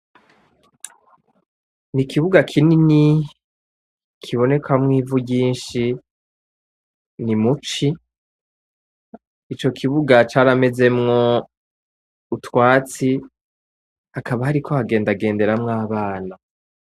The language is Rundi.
N'ikibuga kinini kibonekamwo ivu ryinshi ni mu ci ico kibuga caramezemwo utwatsi hakaba hariko hagendagenderamwo abana.